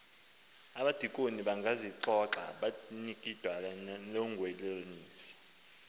abadikoni bangazixoxa notwiintlangoniso